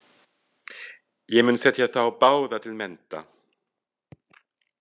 Ég mun setja þá báða til mennta.